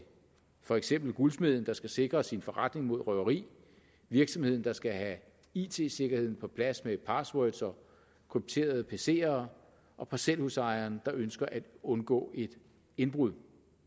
for eksempel guldsmeden der skal sikre sin forretning mod røveri virksomheden der skal have it sikkerheden på plads med passwords og krypterede pc’er og parcelhusejeren der ønsker at undgå et indbrud